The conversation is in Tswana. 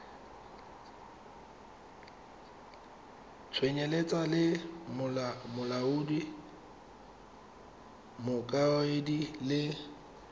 tsenyeletsa le molaodi mokaedi le